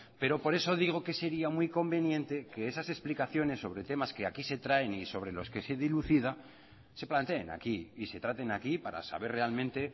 pero por eso digo que sería muy conveniente que esas explicaciones sobre temas que aquí se traen y sobre los que se dilucida se planteen aquí y se traten aquí para saber realmente